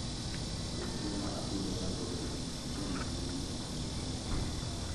Dhoth joma atudora go gin joma mine kose joma chuo?